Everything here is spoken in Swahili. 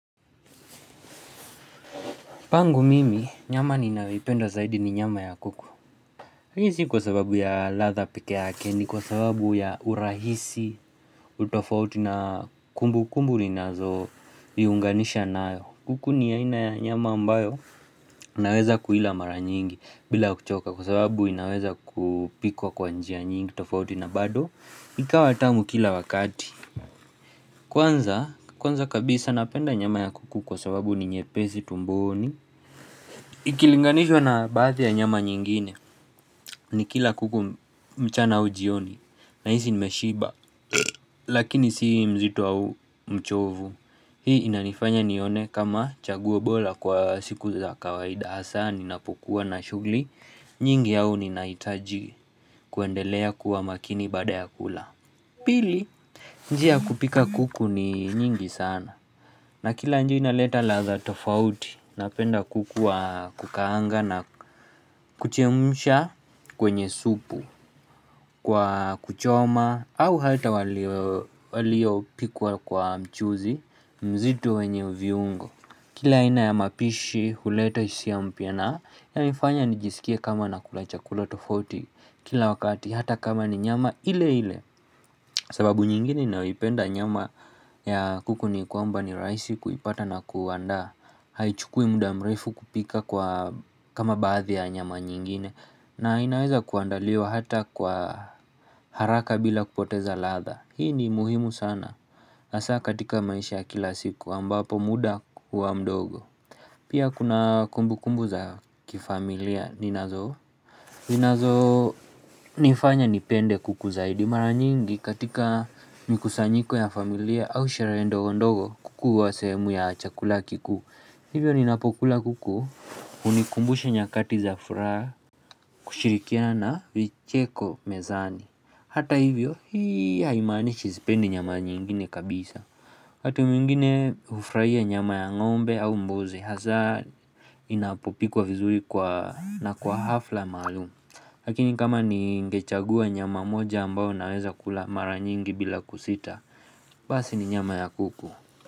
Pangu mimi nyama ninayoipenda zaidi ni nyama ya kuku Hii ni si kwa sababu ya ladha peke yake ni kwa sababu ya urahisi utofauti na kumbu kumbu ninazoviunganisha nayo kuku ni aina ya nyama ambayo naweza kuila mara nyingi bila kuchoka kwa sababu inaweza kupikwa kwa njia nyingi utofauti na bado ikawa tamu kila wakati Kwanza kabisa napenda nyama ya kuku kwa sababu ni nyepesi tumboni Ikilinganishwa na baadhi ya nyama nyingine ni kila kuku mchana au jioni Nahisi nimeshiba Lakini si mzito au mchovu Hii inanifanya nione kama chaguo bora kwa siku za kawaida hasa ninapokua na shughuli nyingi au ninahitaji kuendelea kuwa makini baada ya kula Pili njia ya kupika kuku ni nyingi sana na kila njia inaleta ladha tofauti Napenda kuku wa kukaanga na kuchemsha kwenye supu Kwa kuchoma au hata waliopikwa kwa mchuzi mzito wenye viungo Kila aina ya mapishi huleta hisia mpya na inanifanya nijisikie kama na kula chakula tofauti Kila wakati hata kama ni nyama ile ile sababu nyingine ninayoipenda nyama ya kuku ni kwamba ni rahisi kuipata na kuandaa haichukui muda mrefu kupika kwa kama baadhi ya nyama nyingine na inaweza kuandaliwa hata kwa haraka bila kupoteza ladha hii ni muhimu sana hasa katika maisha kila siku ambapo muda huwa mdogo pia kuna kumbu kumbu za kifamilia ninazo ninazo nifanya nipende kuku zaidi mara nyingi katika mikusanyiko ya familia au sherehe ndogo ndogo kuku huwa sehemu ya chakula kikuu Hivyo ninapokula kuku hunikumbusha nyakati za furaha kushirikiana na vicheko mezani. Hata hivyo hii haimaanishi sipendi nyama nyingine kabisa. Wakati mwingine hufurahia nyama ya ngombe au mbuzi hasa inapopikwa vizuri kwa na kwa hafla maalumu. Lakini kama ningechagua nyama moja ambayo naweza kula mara nyingi bila kusita, basi ni nyama ya kuku.